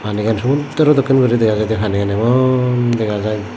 pani gan somudro dokken guri dega jaidey panigan emon dega jaai.